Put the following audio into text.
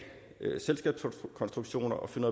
selskabskonstruktioner og finde